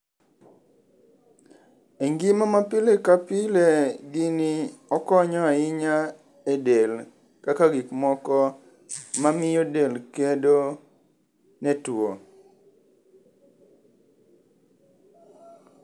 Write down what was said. E ngima ma pile ka pile gini okonyo ahinya e del kaka gik moko mamiyo del kedo ne tuo.